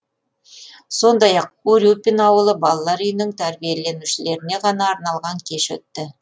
сондай ақ урюпин ауылы балалар үйінің тәрбиеленушілеріне ғана арналған кеш өтті